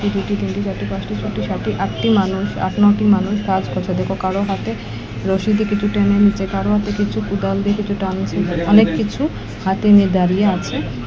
একটি দুটি তিনটি চারটি পাঁচটি ছটি সাতটি আটটি মানুষ আট নটি মানুষ কাজ করছে দেখবো কারোর হাতে রশি দিয়ে কিছু টেনে নিচ্ছে কারোর হাতে কিছু কোদাল দিয়ে কিছু টানছে অনেককিছু হাতে নিয়ে দাঁড়িয়ে আছে।